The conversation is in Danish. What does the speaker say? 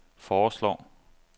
foreslår